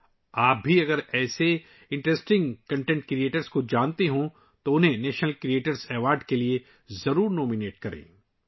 اگر آپ بھی ایسے دلچسپ مواد تخلیق کرنے والوں کو جانتے ہیں تو انہیں نیشنل کریئیٹرز ایوارڈ کے لیے ضرور نامزد کریں